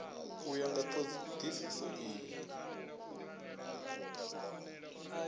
u ya nga thodisiso iyi